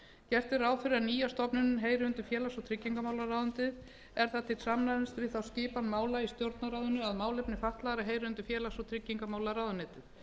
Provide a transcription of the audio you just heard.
gert er ráð fyrir að nýja stofnunin heyri undir félags og tryggingamálaráðherra er það til samræmis við þá skipan mála í stjórnarráðinu að málefni fatlaðra heyra undir félags og tryggingamálaráðuneytið